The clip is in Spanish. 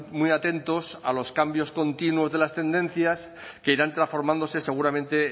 muy atentos a los cambios continuos de las tendencias que irán transformándose seguramente